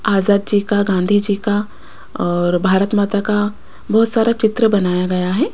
आझाद जी का गांधी जी का और भारत माता का बहुत सारा चित्र बनाया गया है।